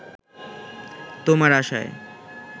তোমার আশায়